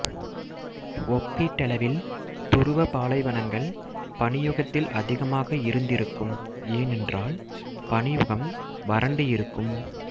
ஒப்பீட்டளவில் துருவ பாலைவனங்கள் பனியுகத்தில் அதிகமாக இருந்திருக்கும் ஏனெறால் பனியுகம் வரண்டு இருக்கும்